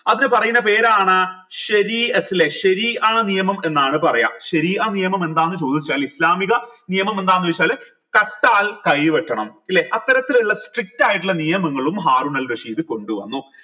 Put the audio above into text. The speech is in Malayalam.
അതിനു പറയുന്ന പേരാണ് നിയമം എന്നാണ് പറയാം നിയമം എന്താന്ന് ചോദിച്ചാൽ ഇസ്ലാമിക നിയമം എന്താന്നെച്ചാൽ കട്ടാൽ കൈ വെട്ടണം ല്ലെ അത്തരത്തിലുള്ള strict ആയിട്ടുള്ള നിയമങ്ങളും ഹാറൂനൽ റഷീദ് കൊണ്ടുവന്നു